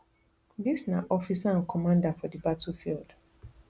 dis na officer and commander for di battlefield